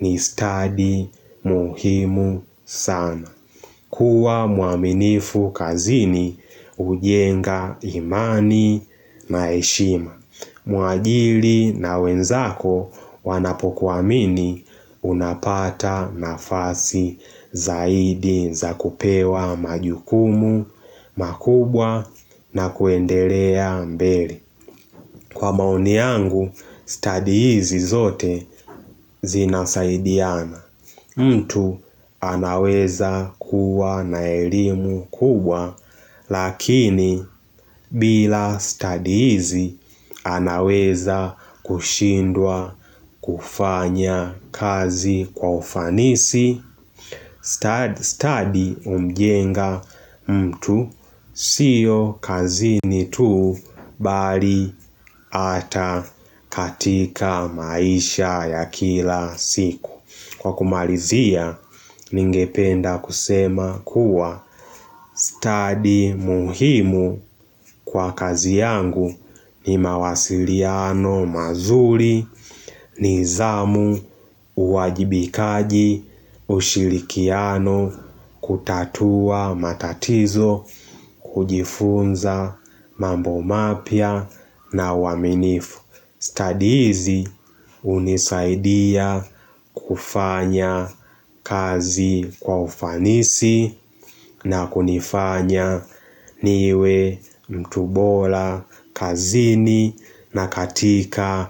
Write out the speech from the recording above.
ni stadi muhimu sana. Kuwa mwaminifu kazini ujenga imani na heshima. Mwaajili na wenzako wanapokuamini unapata nafasi zaidi za kupewa majukumu, makubwa na kuendelea mbele. Kwa maoni yangu, study hizi zote zinasaidiana. Mtu anaweza kuwa naelimu kubwa, lakini bila study hizi anaweza kushindwa kufanya kazi kwa ufanisi. Sta Study umjenga mtu siyo kazini tuu bali ata katika maisha ya kila siku. Kwa kumalizia ningependa kusema kuwa, stadi muhimu kwa kazi yangu ni mawasiliano mazuli nizamu, uwajibikaji, ushilikiano, kutatua matatizo kujifunza mambo mapya na uwaminifu. Stadi hizi unisaidia kufanya kazi kwa ufanisi na kunifanya niwe mtu bola kazini na katika.